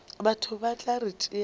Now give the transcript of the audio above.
batho ba tla re tšea